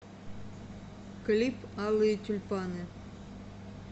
клип алые тюльпаны